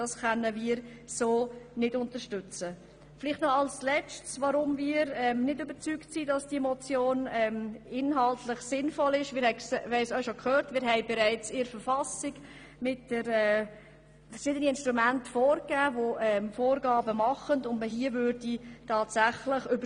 Noch ein letzter Punkt, warum wir nicht überzeugt sind, dass diese Motion inhaltlich sinnvoll ist: Wir haben bereits in der Verfassung verschiedene Instrumente, die Vorgaben in diesem Bereich machen.